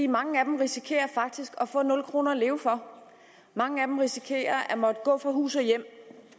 mange af dem risikerer faktisk at få nul kroner at leve for mange af dem risikerer at måtte gå fra hus og hjem